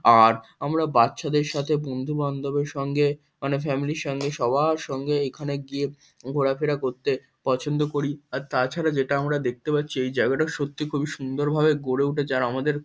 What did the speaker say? আর আমরা বাচ্চাদের সাথে বন্ধু-বান্ধবের সঙ্গে মানে ফ্যামিলি -র সঙ্গে সবার সঙ্গে এখানে গিয়ে ঘোরাফেরা করতে পছন্দ করি। আর তাছাড়া যেটা আমরা দেখতে পাচ্ছি এই জায়গাটা সত্যি খুবই সুন্দর ভাবে গড়ে উঠেছে। আর আমাদের--